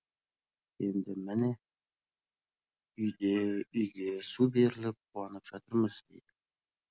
енді міне үйді үйге су беріліп қуанып жатырмыз дейді